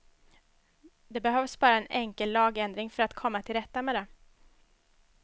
Det behövs bara en enkel lagändring för att komma till rätta med det.